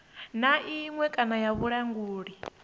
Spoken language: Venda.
na iṅwe kana ya vhulanguli